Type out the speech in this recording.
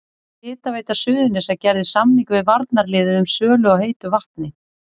Hitaveita Suðurnesja gerði samning við varnarliðið um sölu á heitu vatni.